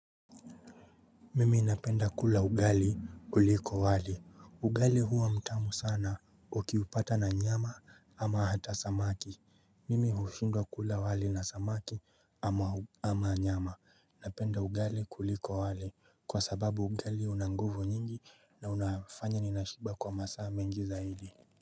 Mimi napenda kula ugali kuliko wali. Ugali huwa mtamu sana ukiupata na nyama ama hata samaki. Mimi hushindwa kula wali na samaki ama nyama. Napenda ugali kuliko wali kwa sababu ugali una nguvu nyingi na unafanya ninashiba kwa masaa mengi zaidi.